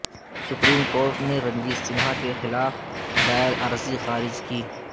supreme کو writ نے رنجیت سنہا کے خلاف دائر عرضی خارج کی